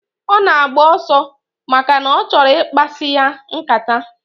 Ona agba oso, maka na ochoro ikpasi ya nkata.